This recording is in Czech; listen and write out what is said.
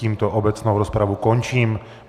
Tímto obecnou rozpravu končím.